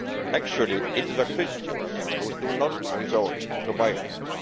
Actually it is the Christians who do not resort to violence